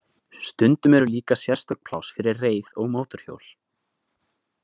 Stundum eru líka sérstök pláss fyrir reið- og mótorhjól.